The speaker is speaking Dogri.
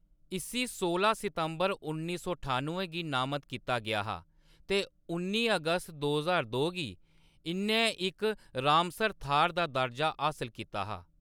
इस्सी सोलां सितंबर उन्नी सौ ठान्नुएं गी नामत कीता गेआ हा ते उन्नी अगस्त दो ज्हार दो गी इʼन्नै इक रामसर थाह्‌‌‌र दा दर्जा हासल कीता हा।